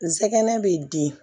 Nsɛgɛn bɛ di